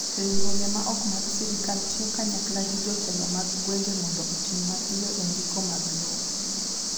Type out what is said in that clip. Riwruoge ma ok mag sirkal tiyo kanyakla gi jotelo mag gwenge mondo otim mapiyo e ndiko mag lowo.